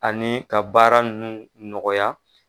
Ani ka baara nunnu nɔgɔya